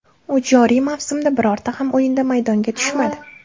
U joriy mavsumda birorta ham o‘yinda maydonga tushmadi.